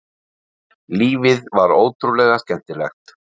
Lífið var ótrúlega skemmtilegt.